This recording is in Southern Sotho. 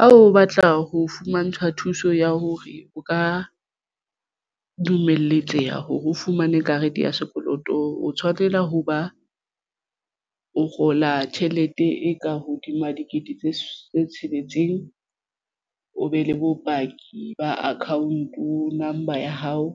Ha o batla ho fumantshwa thuso ya hore o ka dumeletseha hore o fumane karete ya sekoloto o tshwanela ho ba o kgola tjhelete e ka hodima dikete tse tsheletseng. O be le bopaki ba account number ya hao